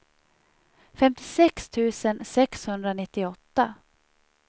femtiosex tusen sexhundranittioåtta